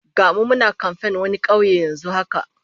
Ga mu muna kamfen wani kauye yanzu haka